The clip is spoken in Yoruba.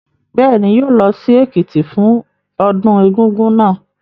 Bẹ́ẹ̀ ni, yóò lọ sí Èkìtì fún ọdún Egúngún náà.